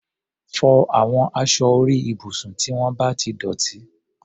Fọ àwọn aṣọ orí ibùsùn tí wọ́n bá ti dọ̀tí!